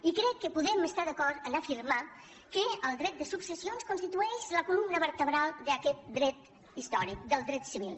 i crec que podem estar d’acord a afirmar que el dret de successions constitueix la columna vertebral d’aquest dret històric del dret civil